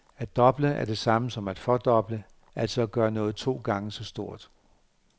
At doble er det samme som at fordoble, altså at gøre noget to gange så stort.